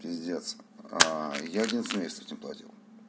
пиздец я один семестр не платил